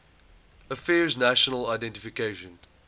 affairs national identification